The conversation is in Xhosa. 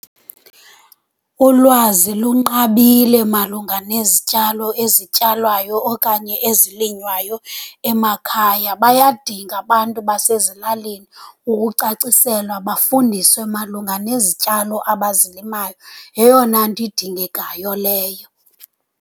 Ulwazi lunqabile malunga nezityalo ezityalwayo okanye ezilinywayo emakhaya. Bayadinga abantu basezilalini ukucaciselwa, bafundiswe malunga nezityalo abazilimayo. Yeyona nto idingekayo leyo.